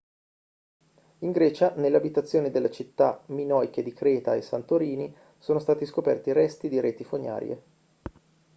in grecia nelle abitazioni delle città minoiche di creta e santorini sono stati scoperti resti di reti fognarie